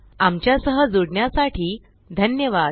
आमच्या सह जुडण्यासाठी धन्यवाद